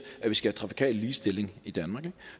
at vi skal have trafikal ligestilling i danmark